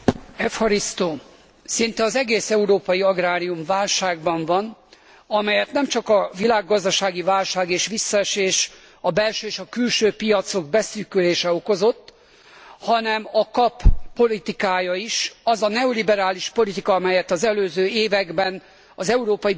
Szinte az egész európai agrárium válságban van, amelyet nem csak a világgazdasági válság és visszaesés, a belső és a külső piacok beszűkülése okozott, hanem a KAP politikája is, az a neoliberális politika, amelyet az előző években az Európai Bizottság folytatott.